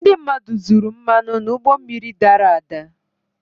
ndị mmadụ zuru mmanụ n'ụgbọ mmiri dara ada